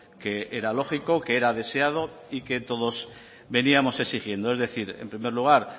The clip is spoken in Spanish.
que era lógico que era deseado y que todos veníamos exigiendo es decir en primer lugar